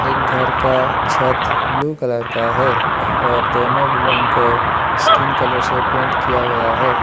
एक घर का छत ब्ल्यू कलर का है और दोनों बिल्डिंग को स्किन कलर से पेंट किया गया है।